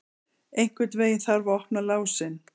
Einhvern veginn þarf að opna lásinn!